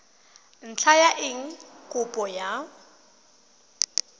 ntlha ya eng kopo ya